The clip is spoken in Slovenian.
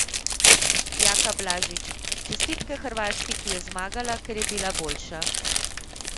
Jaka Blažić: "Čestitke Hrvaški, ki je zmagala, ker je bila boljša.